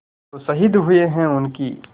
जो शहीद हुए हैं उनकी